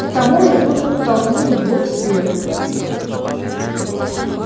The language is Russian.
к тому же вы подтолкнули его к свету